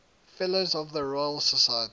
fellows of the royal society